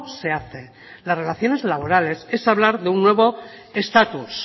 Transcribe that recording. se hace las relaciones laborales es hablar de un nuevo estatus